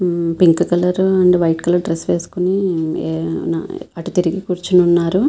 Um pink colour um and white colour dress వేసుకుని um ఆ um um అటు తిరిగి కూర్చుని ఉన్నారు.